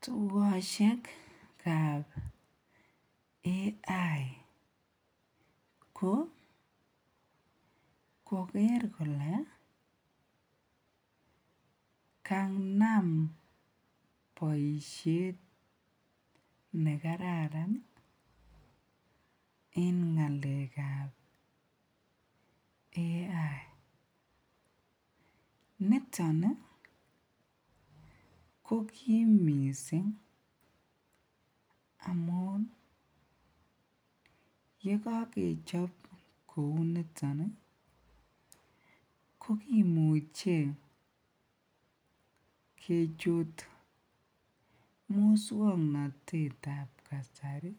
Tukoshekab AI ko koker kolee kanam boishet nekararan en ngalekab AI, niton ko kiim mising amun yekokechob kouniton ko kimuche kechut muswoknotetab kasari